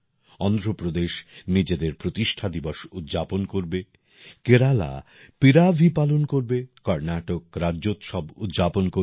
অন্ধ্রপ্রদেশ নিজেদের প্রতিষ্ঠা দিবস উদযাপন করবে কেরালা পিরাভি পালন করবে কর্ণাটক রাজ্যোৎসব উদযাপন করবে